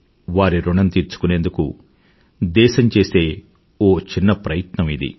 వారి ఋణం తీర్చుకునేందుకు దేశం చేసే ఒక చిన్న ప్రయత్నం ఇది